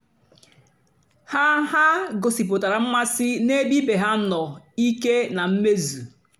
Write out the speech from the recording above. o kèsàra òbèré ógè èkélè mà jụ́ọ́ ndí ọ́zọ́ ihe ha nwèrè èkélè maka ya.